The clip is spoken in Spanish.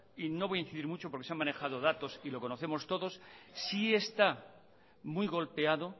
y no voy a incidir mucho porque se han manejado datos y lo conocemos todos sí está muy golpeado